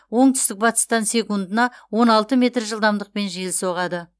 оңтүстік батыстан секундына он алты метр жылдамдықпен жел соғады